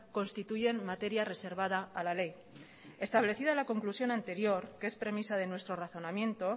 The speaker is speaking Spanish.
constituyen materia reservada a la ley establecida a la conclusión anterior que es premisa de nuestro razonamiento